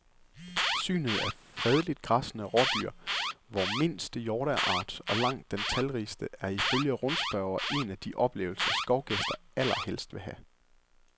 Synet af fredeligt græssende rådyr, vor mindste hjorteart og langt den talrigste, er ifølge rundspørger en af de oplevelser, skovgæster allerhelst vil have.